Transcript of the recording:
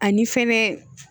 Ani fɛnɛ